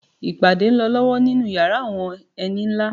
Ìpàdé ń lọ lọ́wọ́ nínú yàrá àwọn ẹni nlá